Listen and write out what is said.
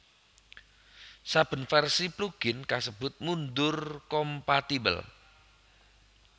Saben vèrsi plugin kasebut mundur kompatibel